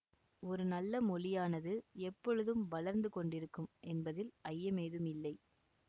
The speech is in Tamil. ஒரு நல்ல மொழியானது எப்பொழுதும் வளர்ந்து கொண்டிருக்கும் என்பதில் ஐய்யமேதுமில்லை